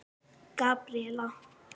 Gabríella